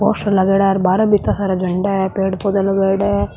पोस्टर लगायोड़ा है बारे बिता सारा झंडा है पेड़ पौधा लगायेडा है।